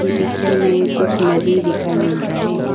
इ पिक्चर मे कुछ नदी दिखाई मिल रहा है।